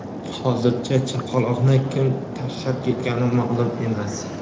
hozircha chaqaloqni kim tashlab ketgani ma’lum emas.